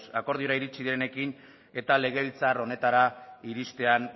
akordiora iritsi denekin eta legebiltzar honetara iristean